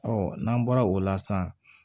n'an bɔra o la sisan